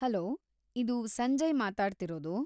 Hello, ಇದು ಸಂಜಯ್‌ ಮಾತಾಡ್ತಿರೋದು.